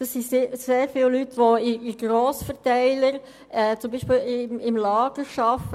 Das sind sehr viele Leute, die in Grossverteilern zum Beispiel im Lager arbeiten.